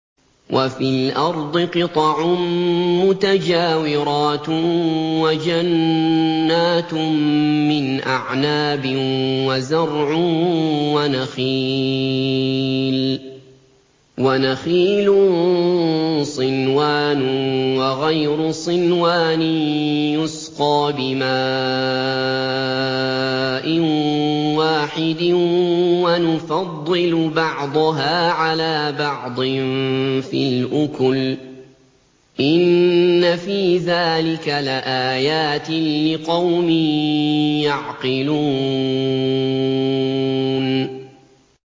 وَفِي الْأَرْضِ قِطَعٌ مُّتَجَاوِرَاتٌ وَجَنَّاتٌ مِّنْ أَعْنَابٍ وَزَرْعٌ وَنَخِيلٌ صِنْوَانٌ وَغَيْرُ صِنْوَانٍ يُسْقَىٰ بِمَاءٍ وَاحِدٍ وَنُفَضِّلُ بَعْضَهَا عَلَىٰ بَعْضٍ فِي الْأُكُلِ ۚ إِنَّ فِي ذَٰلِكَ لَآيَاتٍ لِّقَوْمٍ يَعْقِلُونَ